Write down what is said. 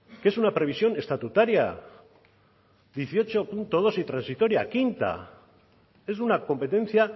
que es una previsión estatutaria dieciocho punto dos y transitoria quinta es una competencia